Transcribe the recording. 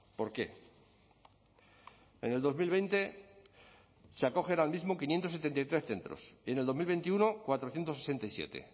por qué en el dos mil veinte se acogen al mismo quinientos setenta y tres centros y en el dos mil veintiuno cuatrocientos sesenta y siete